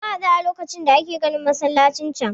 Mun haɗu a lokacin da ake ginin masallacin can.